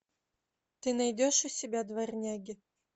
ты найдешь у себя дворняги